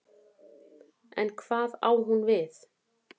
En hvað á hún við?